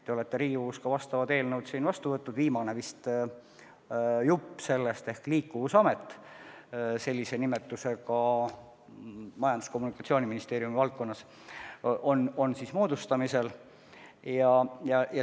Te olete Riigikogus ka vastavad eelnõud vastu võtnud, viimane jupp sellest on Liikuvusamet – sellise nimetusega amet Majandus- ja Kommunikatsiooniministeeriumi haldusalas on moodustamisel.